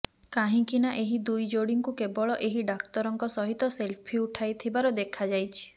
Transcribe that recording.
କାହିଁକିନା ଏହି ଦୁଇ ଯୋଡ଼ିଙ୍କୁ କେବଳ ଏହି ଡାକ୍ତରଙ୍କ ସହିତ ସେଲ୍ଫି ଉଠାଇଥିବାର ଦେଖାଯାଇଛି